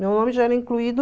Meu nome já era incluído